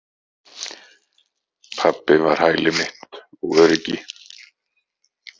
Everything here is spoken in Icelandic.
Pabbi var hæli mitt og öryggi.